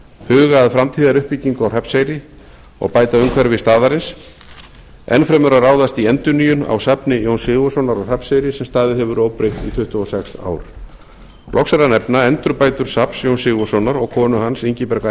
huga að framtíðaruppbyggingu á hrafnseyri og bæta umhverfi staðarins enn fremur að ráðast í endurnýjun á safni jóns sigurðssonar á hrafnseyri sem staðið hefur óbreytt tuttugu og sex ár loks er að nefna endurbætur jóns sigurðssonar og konu hans ingibjargar